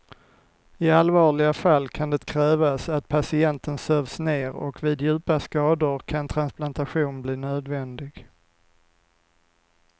I allvarliga fall kan det krävas att patienten sövs ner och vid djupa skador kan transplantation bli nödvändig.